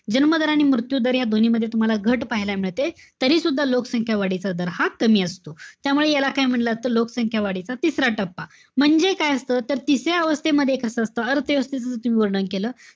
जमीन दर आणि मृत्यू दर, या दोन्हीमध्ये तुम्हाला घट पाहायला मिळते. तरीसुद्धा लोकसंख्या वाढीचा दर हा कमी असतो. त्यामुळे याला काय म्हणलं असत? लोकसंख्या वाढीचा तिसरा टप्पा. म्हणजे काय असत, तर तिसऱ्या अवस्थेमध्ये कसं असत, तुम्ही वर्णन केलं.